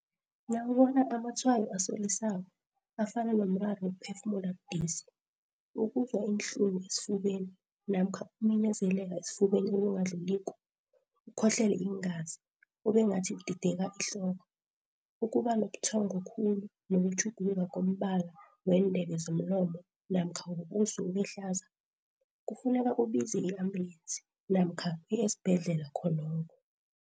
Nawubona amatshwayo asolisako, afana nomraro wokuphefumula budisi, ukuzwa iinhlungu esifubeni namkha ukuminyezeleka esifubeni okungadluliko, ukhohlele iingazi, ubengathi udideka ihloko, ukuba nobuthongo khulu nokutjhuguluka kombala weendebe zomlomo namkha wobuso ubehlaza, kufuneka ubize i-ambulensi namkha uye esibhedlela khonokho.